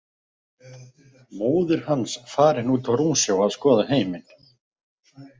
Móðir hans farin út á rúmsjó að skoða heiminn.